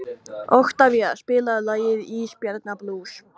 Oktavía, spilaðu lagið „Ísbjarnarblús“.